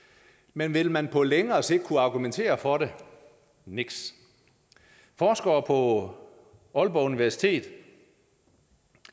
men vil man på længere sigt kunne argumentere for det niks forskere på aalborg universitet